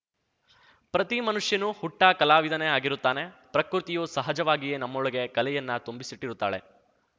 ಪ್ರತಿ ಮನುಷ್ಯನೂ ಹುಟ್ಟಾಕಲಾವಿದನೇ ಆಗಿರುತ್ತಾನೆ ಪ್ರಕೃತಿಯು ಸಹಜವಾಗಿಯೇ ನಮ್ಮೊಳಗೆ ಕಲೆಯನ್ನ ತುಂಬಿಸಿಟ್ಟಿರುತ್ತಾಳೆ